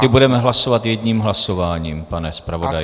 Ty budeme hlasovat jedním hlasováním, pane zpravodaji.